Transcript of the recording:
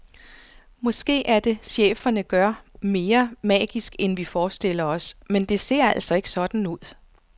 Måske er det, cheferne gør, mere magisk end vi forestiller os, men det ser altså ikke sådan ud.